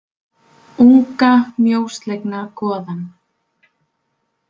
Unga mjóslegna goðann.